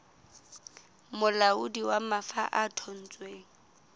molaodi wa mafa ya thontsweng